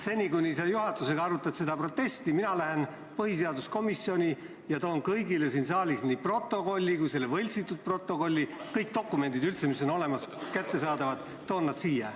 Seni, kuni sa juhatusega seda protesti arutad, lähen mina põhiseaduskomisjoni ja toon kõigile siin saalis viibijatele nii selle päris protokolli kui ka võltsitud protokolli – kõik dokumendid, mis on olemas ja kättesaadavad, toon siia.